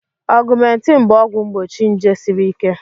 Augmentin bụ ọgwụ mgbochi nje siri ike